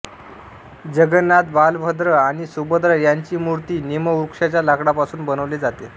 जगन्नाथ बलभद्र आणि सुभद्रा यांची मूर्ति नीमवृक्षाचा लकडापासून बनवले जाते